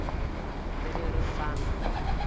le ge re sa na